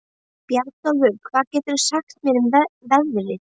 Bjarnólfur, hvað geturðu sagt mér um veðrið?